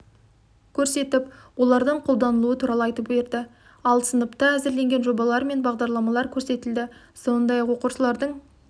көрсетіп олардың қолданылуы туралы айтып берді ал сыныпта әзірленген жобалар мен бағдарламалар көрсетілді сондай-ақ оқушылардың